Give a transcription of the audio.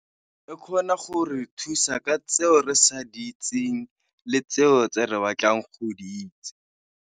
E kgona gore thusa ka tseo re sa di itseng le tseo tse re batlang go di itse.